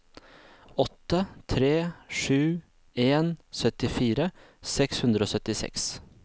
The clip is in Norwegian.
åtte tre sju en syttifire seks hundre og syttiseks